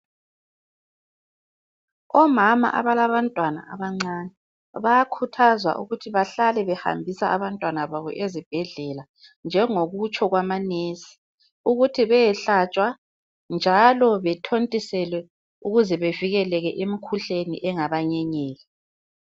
Omama abalabantwana abancane bayakhuthazwa ukuthi bahlale behambisa abantwana babo ezibhedlela njengokutsho kwabomongikazi ukuthi beyehlatshwa njalo bethontiselwe ukuze bevikeleke emikhuhlaneni engaba nyenyela.